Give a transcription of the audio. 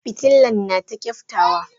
Fitilan nata kyaftawa.